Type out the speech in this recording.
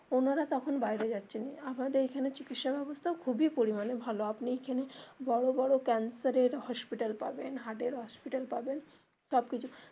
ওনারা তখন বাইরে যাচ্ছেন, আমাদের এখানে চিকিৎসা ব্যবস্থা খুবই পরিমানে ভালো আপনি এখানে বড়ো বড়ো cancer এর hospital পাবেন heart এর hospital পাবেন সবকিছু.